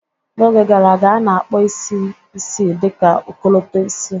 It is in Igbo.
N'oge gara aga, a na-akpọ isi isii dị ka ọkọlọtọ isii